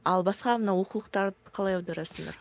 ал басқа мына оқулықтарды қалай аударасыңдар